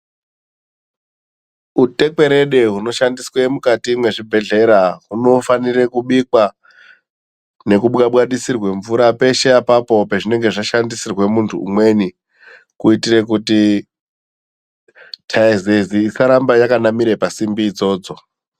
Utekwerede hunoshandiswa mukati mezvibhedhlera unofanikwa kubikwa nekubwabwarisirwa mvura peshe apapo pazvinenge zvashandisirwa umweni kuitira kuti taizezi isaramba yakanamira pasimbi idzodzo.